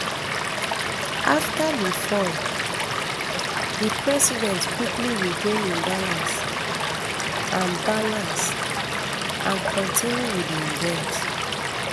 afta di fall um di president quickly regain im balance and balance and continue wit di event